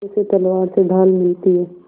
जैसे तलवार से ढाल मिलती है